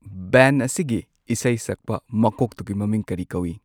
Band ꯑꯁꯤꯒꯤ ꯏꯁꯩ ꯁꯛꯄ ꯃꯀꯣꯛꯇꯨꯒꯤ ꯃꯃꯤꯡ ꯀꯔꯤ ꯀꯧꯏ꯫